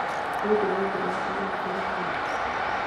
Nĩ ũndũ wa mbura na ũrugarĩ mũingĩ